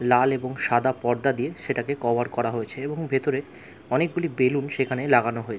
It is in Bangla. লাল এবং সাদা পর্দা দিয়ে সেটাকে কভার করা হয়েছে এবং ভেতরে অনেকগুলি বেলুন সেখানে লাগানো হয়েছে ।